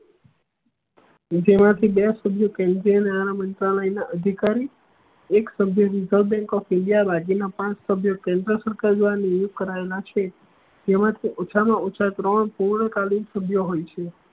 જેમાં થ બે સભ્ય ન્યાલય ના અધિકારી એક સભ્ય રેસેર્વ બેંક ઓફ ઇન્ડિયા બાકી ના પાંચ સભ્ય નિયુક્ત કરાયેલા છે તેવા મા થી ઓછા મા ઓછા ત્રણ પૂર્વકાલીન સભ્ય હોય છે